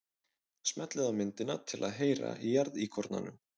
Smellið á myndina til að heyra í jarðíkornanum.